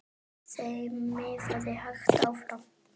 Þeim miðaði hægt áfram.